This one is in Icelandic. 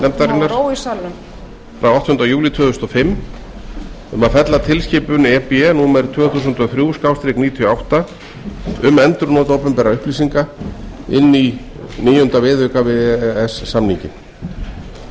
nefndarinnar frá áttunda júlí tvö þúsund og fimm um að fella tilskipun e b númer tvö þúsund og þrjú níutíu og átta um endurnotkun upplýsinga inn í níunda viðauka við e e s samninginn frumvarpið